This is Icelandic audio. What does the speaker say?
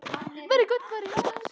Mér finnst hann töff með hárið svona!